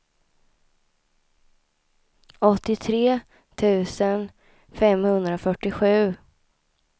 åttiotre tusen femhundrafyrtiosju